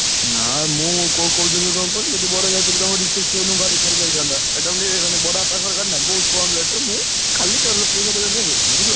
ନା ମୁଁ କହୁଥିଲି କଣ କହିଲୁ ଯଦି ମୋର ଯଦି ତମ reception କୁ ଗାଡି ଫାଡି ଯାଇଥାନ୍ତା ଏଟାକୁ ଟିକେ ବଡ ବାପାଙ୍କର ଗାଡି ନା ବହୁତ କମ୍ rate ରେ ମୁଁ, ଖାଲି ତେଲ ପଇସାଟା ଦେଲେ ବି ହେଇ ଯାଇଥାନ୍ତା ବୁଝିଲ କି!